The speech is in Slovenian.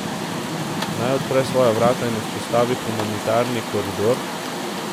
Naj odpre svoja vrata in vzpostavi humanitarni koridor?